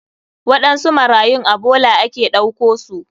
Waɗansu marayun a bola ake ɗauko su.